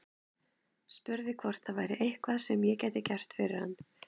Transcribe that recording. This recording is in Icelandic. Spurði hvort það væri eitthvað sem ég gæti gert fyrir hann.